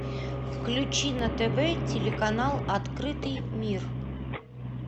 включи на тв телеканал открытый мир